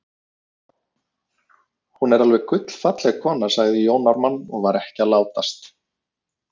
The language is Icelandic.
Hún er alveg gullfalleg kona, sagði Jón Ármann og var ekki að látast.